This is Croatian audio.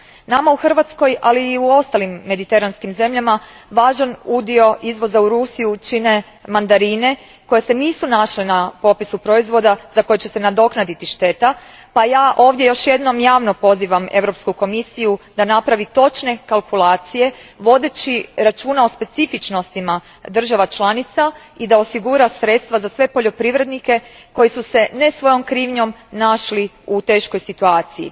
Nama u Hrvatskoj, ali i u ostalim mediteranskim zemljama važan udio izvoza u Rusiju čine mandarine koje se nisu našle na popisu proizvoda za koje će se nadoknaditi šteta, pa ja ovdje još jednom javno pozivam Europsku komisiju da napravi točne kalkulacije vodeći računa o specifičnostima država članica i da osigura sredstva za sve poljoprivrednike koji su se, ne svojom krivnjom, našli u teškoj situaciji.